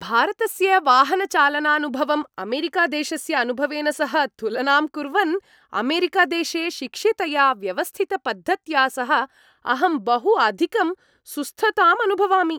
भारतस्य वाहनचालनानुभवम् अमेरिकादेशस्य अनुभवेन सह तुलनां कुर्वन्, अमेरिकादेशे शिक्षितया व्यवस्थितपद्धत्या सह अहं बहु अधिकं सुस्थताम् अनुभवामि।